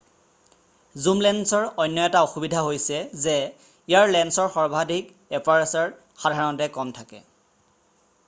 জুম লেন্সৰ অন্য এটা অসুবিধা হৈছে যে ইয়াৰ লেন্সৰ সৰ্বাধিক এপাৰ্চাৰ গতি সাধাৰণতে কম থাকে।